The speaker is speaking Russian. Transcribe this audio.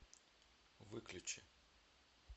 выключи